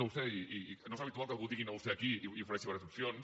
no ho sé i no és habitual que algú digui no ho sé aquí i ofereixi diverses opcions